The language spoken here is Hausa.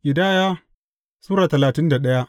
Ƙidaya Sura talatin da daya